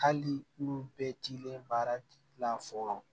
Hali olu bɛɛ t'ilen baara fɔlɔ